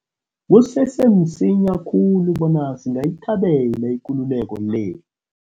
Kusese msinya khulu bona singayithabela ikululeko le.